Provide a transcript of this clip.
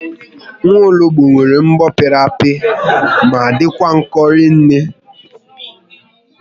Nwologbo nwere mbọ pịrị apị ma dịkwa nkọ rinne